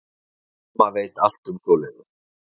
Mamma veit allt um svoleiðis.